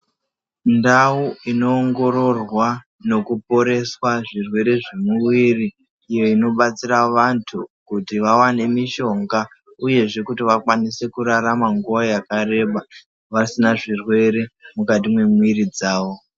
Ndau inoongororwa nekuporeswa zvirwere zvemwiri iyo inobatsira vantu kuti vawane mishonga uyezve kuti vakwanise kurarama nguwa yakareba vasina zvirwere mukati mwemwiri dzawo.